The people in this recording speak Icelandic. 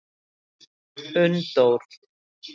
Unndór